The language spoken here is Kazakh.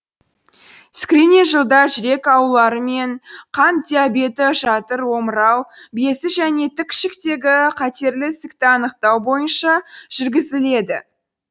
скрининг жылда жүрек аурулары мен қант диабеті жатыр омырау безі және тік ішектегі қатерлі ісікті анықтау бойынша жүргізіледі